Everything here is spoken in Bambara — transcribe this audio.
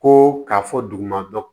Ko k'a fɔ duguma dɔ